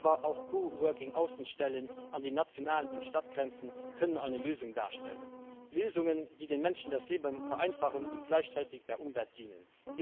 Aber auch Coworking Außenstellen an den nationalen und Stadtgrenzen können eine Lösung darstellen Lösungen, die den Menschen das Leben vereinfachen und gleichzeitig der Umwelt dienen.